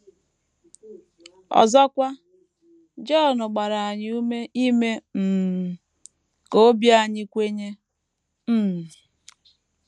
Ọzọkwa, Jọn gbara anyị ume ‘ ime um ka obi anyị kwenye. ’ um